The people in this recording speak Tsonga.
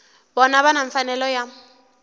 vona va na mfanelo ya